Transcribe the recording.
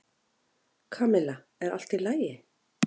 Kamilla, er allt í lagi?